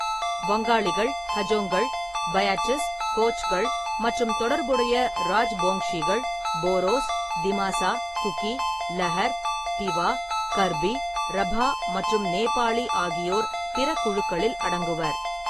வங்காளிகள், ஹஜோங்கள், பயாட்டிஸ், கோச்கள் மற்றும் தொடர்புடைய ராஜ்போங்ஷிகள், போரோஸ், திமாசா, குகி, லகர், திவா, கர்பி, ரபா மற்றும் நேபாளி ஆகியோர் பிற குழுக்களில் அடங்குவர்.